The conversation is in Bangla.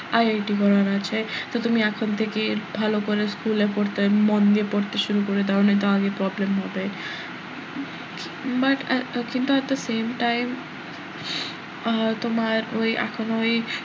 IIT পড়ার আছে তো তুমি এখন থেকেই ভালো করে school এ পড়তে মন দিয়ে পড়তে শুরু করে দাও নয়তো আগে problem হবে but আহ কিন্তু at the same time ah তোমার ওই এখনও ওই,